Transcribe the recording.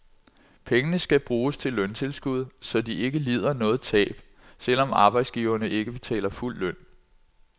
Pengene skal bruges til løntilskud, så de ikke lider noget tab, selv om arbejdsgiverne ikke betaler fuld løn.